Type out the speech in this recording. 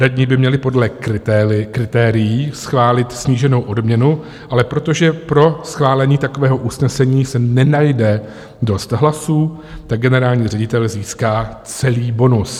Radní by měli podle kritérií schválit sníženou odměnu, ale protože pro schválení takového usnesení se nenajde dost hlasů, tak generální ředitel získá celý bonus.